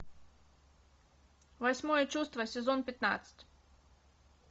восьмое чувство сезон пятнадцать